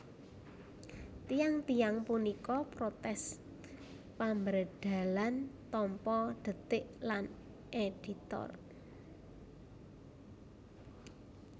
Tiyang tiyang punika protes pambrèdhelan Tempo DeTik lan Editor